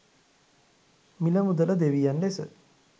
මිල මුදල දෙවියන් ලෙස